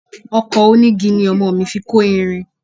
Ọkọ̀ onígi ni ọmọ mi fi kọ́ ìrìn.